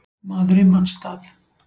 Maður í manns stað